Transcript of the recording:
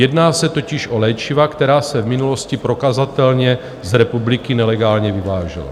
Jedná se totiž o léčiva, která se v minulosti prokazatelně z republiky nelegálně vyvážela.